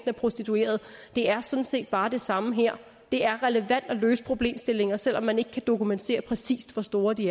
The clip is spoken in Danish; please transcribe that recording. af prostituerede og det er sådan set bare det samme her det er relevant at løse problemstillinger selv om man ikke kan dokumentere præcis hvor store de